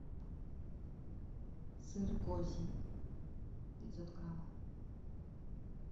сыр козий пятьсот граммов